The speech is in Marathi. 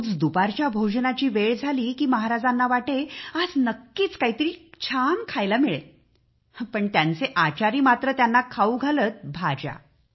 रोज दुपारच्या भोजनाची वेळ झाली की महाराजांना वाटे आज नक्कीच काहीतरी छान खायला मिळेल आणि त्यांचे आचारी मात्र त्यांना खाऊ घालत भाज्या